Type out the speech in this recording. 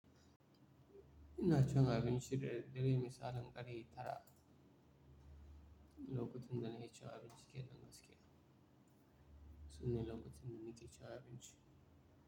Ina can abinci, dare-dare misalin ƙare tara, lokacin da nake ci abinci ke nan gaske. Sune lokacin da nake cin abinci.